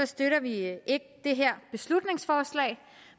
støtter vi ikke det her beslutningsforslag